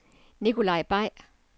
Nicolai Bay